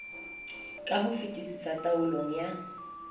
ka ho fetisisa taolong ya